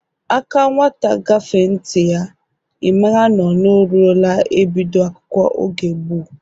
Aka nwata gafee n'nti ya, ị maara nọ ọ ruola e bido akwụkwọ oge gboo